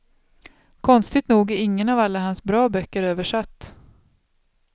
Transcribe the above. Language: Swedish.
Konstigt nog är ingen av alla hans bra böcker översatt.